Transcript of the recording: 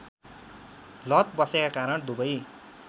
लत बसेका कारण दुबै